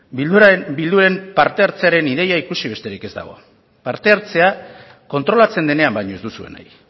bilduren parte hartzearen ideia ikusi besterik ez dago parte hartzea kontrolatzen denean baino ez duzue nahi